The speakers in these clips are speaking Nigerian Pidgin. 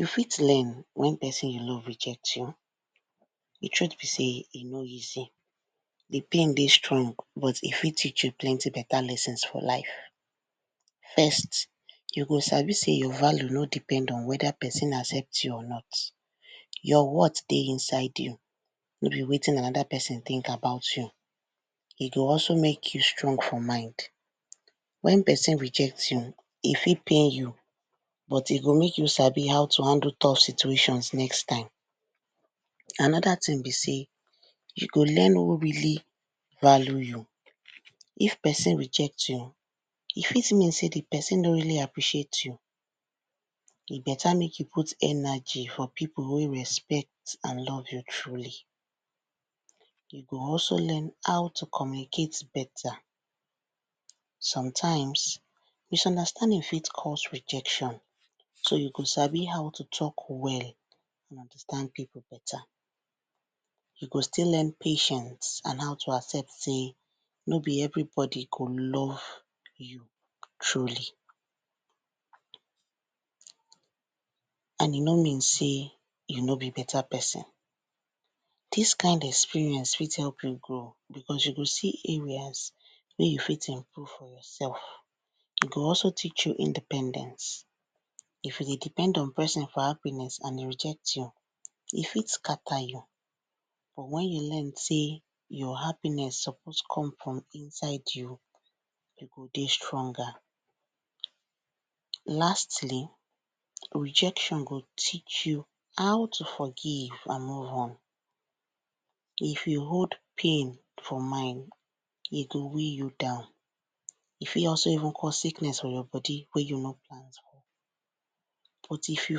You fit lean when person you love reject you, di truth be sey e no easy, di pain dey strong but e fit teach you plenty better lessons for life. First; you go sabi sey your value no depend on whether person accept you or not, your worth dey inside you, no be wetin another person think about you, I dey also make you strong for mind. Wen person reject you, e fit pain you but e go make sabi how to handle tough situations next time, another thing be sey you go learn who really value you, if person reject you, e fit really mean sey di person no appreciate you, e better make you put energy for people wey respect you and love you truly, you go also learn how to communicate better. Sometimes, misunderstanding fit cause rejection so you go sabi how to talk well understand people better. You go still learn patience and how to accept sey, nor be everybody go love you truly, and e nor mean sey you nr be better person. Dis kind experience fit help me grow, because you go see areas wey you fit improve yourself, e go also teach you independence, if you dey depend on person for happiness and e reject you, e fit scatter you but when you learn sey your happiness suppose come from inside you, you go dey stronger. Lastly, rejection go teach you how to forgive and move on, if you hold pain for mind e go weigh you down, e fit even also cause sickness for your body wen you nor plan, but if you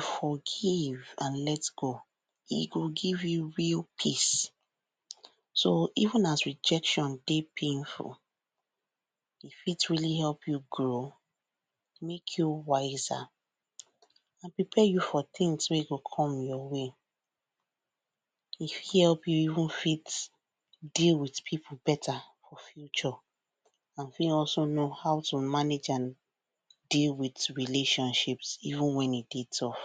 forgive and let go, e go give you real peace. So even as rejection dey painful, it will help you grow, make you wiser, and prepare you for things wey go come your way, e fit help you even fit dey with people better for future and fit also know how to manage and dey with relationships even wen e dey tough.